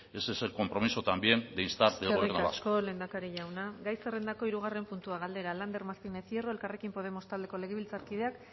ese es el compromiso también de instar del gobierno vasco eskerrik asko lehendakari jauna gai zerrendako hirugarren puntua galdera lander martínez hierro elkarrekin podemos taldeko legebiltzarkideak